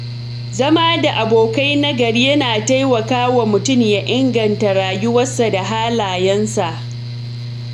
Zama da abokai nagari yana taimakawa mutum ya inganta rayuwarsa da halayensa.